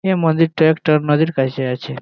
এই মন্দিরটা একটা নদীর কাছে আছে।